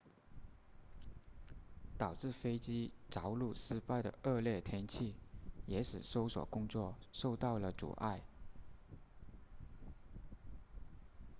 导致飞机着陆失败的恶劣天气也使搜索工作受到了阻碍